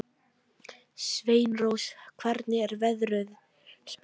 Sveinrós, hvernig er veðurspáin?